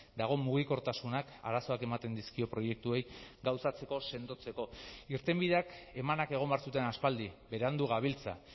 dago mugikortasunak arazoak ematen dizkio proiektuei gauzatzeko sendotzeko irtenbideak emanak egon behar zuten aspaldi berandu gabiltza